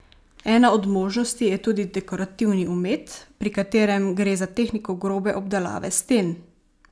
Ena od možnosti je tudi dekorativni omet, pri katerem gre za tehniko grobe obdelave sten.